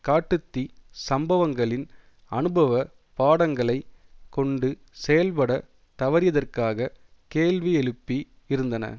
காட்டு தீ சம்பவங்களின் அனுபவ பாடங்களைக் கொண்டு செயல்பட தவறியதற்காக கேள்வி எழுப்பி இருந்தன